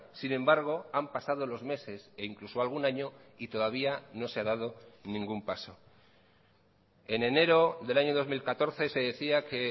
sin embargo han pasado los meses e incluso algún año y todavía no se ha dado ningún paso en enero del año dos mil catorce se decía que